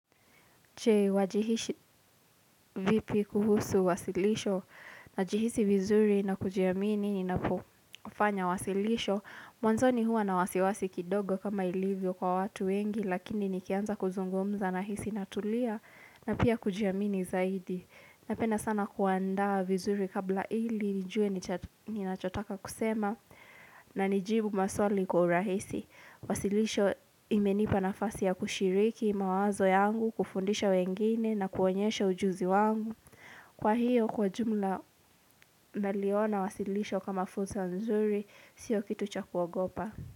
Je wajihisi vipi kuhusu wasilisho? Najihisi vizuri na kujiamini ninapofanya wasilisho. Mwanzoni hua na wasiwasi kidogo kama ilivyo kwa watu wengi lakini nikianza kuzungumza nahisi natulia na pia kujiamini zaidi. Napenda sana kuandaa vizuri kabla ili nijue ninachotaka kusema na nijibu maswali kwa urahisi. Wasilisho imenipa nafasi ya kushiriki mawazo yangu, kufundisha wengine na kuonyesha ujuzi wangu. Kwa hiyo kwa jumla naliona wasilisho kama fursa nzuri sio kitu cha kuogopa.